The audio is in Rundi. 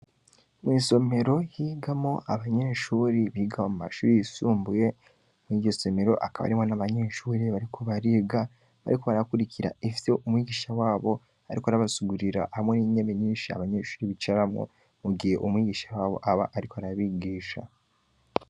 Mw'isomero higamo abanyeshuri biga mu mashuri yisumbuye mw'iryosomero akaba arimwo n'abanyeshuri bariko bariga bariko barakurikira ivyo umwigisha wabo, ariko arabasugurira hamwe n'inyemi nyinshi abanyeshuri bicaramwo mugiye umwigisha wabo aba, ariko arabigisha.